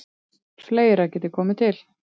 Fleira geti komið til.